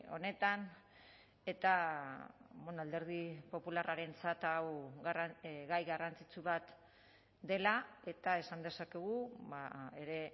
honetan eta alderdi popularrarentzat hau gai garrantzitsu bat dela eta esan dezakegu ere